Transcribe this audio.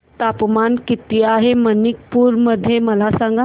तापमान किती आहे मणिपुर मध्ये मला सांगा